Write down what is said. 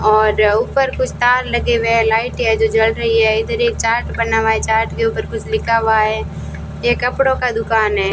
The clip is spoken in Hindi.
और ऊपर कुछ तार लगे हुए हैं लाइटें हैं जो जल रही है इधर एक चार्ट बना हुआ है चार्ट के ऊपर कुछ लिखा हुआ है ये कपड़ों का दुकान है।